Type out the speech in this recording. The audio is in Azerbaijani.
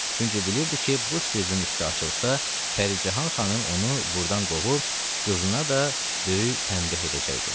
Çünki bilirdi ki, bu sirrin üstü açılsa, Pəricahan xanım onu burdan qovub qızına da böyük tənbeh edəcəkdi.